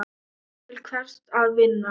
Til hvers að vinna?